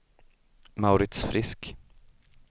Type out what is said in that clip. Mauritz Frisk